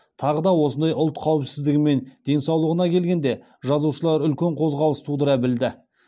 тағы да осындай ұлт қауіпсіздігі мен денсаулығына келгенде жазушылар үлкен қозғалыс тудыра білді